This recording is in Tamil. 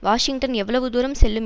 வாஷிங்டன் எவ்வளவு தூரம் செல்லும்